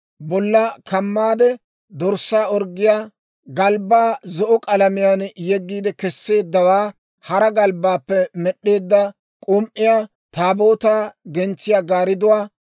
bollaa kamaade dorssaa orggiyaa galbbaa zo'o k'alamiyaan yeggi kesseeddawaa, hara galbbaappe med'eedda k'um"iyaa, Taabootaa gentsiyaa gaaridduwaa,